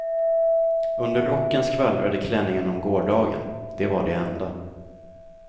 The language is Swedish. Under rocken skvallrade klänningen om gårdagen, det var det enda.